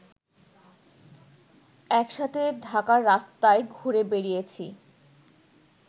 একসাথে ঢাকার রাস্তায় ঘুরে বেড়িয়েছি